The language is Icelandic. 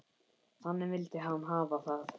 Þannig vildi hann hafa það.